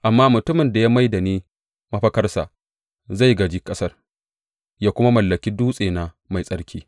Amma mutumin da ya mai da ni mafakarsa zai gāji ƙasar ya kuma mallaki dutsena mai tsarki.